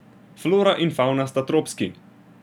Flora in favna sta tropski.